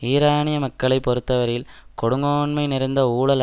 ஈரானிய மக்களை பொறுத்தவரையில் கொடுங்கோன்மை நிறைந்த ஊழல்